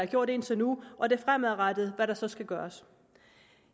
gjort indtil nu og det fremadrettede hvad der så skal gøres